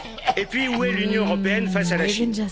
Et puis, où est l'Union européenne face à la Chine?